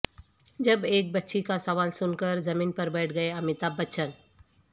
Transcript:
جب ایک بچی کا سوال سن کر زمین پر بیٹھ گئے امیتابھ بچن